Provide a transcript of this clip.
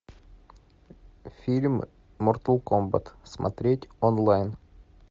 фильм мортал комбат смотреть онлайн